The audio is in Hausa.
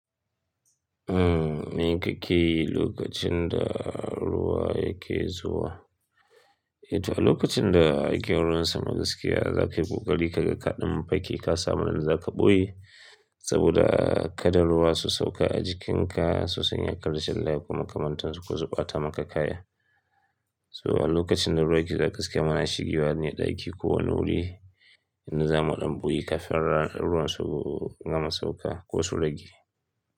Me kake yi lokacin da ruwa yake zuwa. Eh, to a lokacin da ake ruwan sama gaskiya zakayi ƙoƙari ka ga kaɗan fake ka samu in da zaka ɓoye saboda kaɗan ruwa su sauka a jikinka su sanya ka rashin lafiya kuma kamantarsu ko su ɓata maka kaya. So a lokacin da ruwa yake zaka siya mana shigiwa ne ɗaki ko wani wuri inda zamu ɗan ɓoye kafin ruwan su gama sauka ko su rage.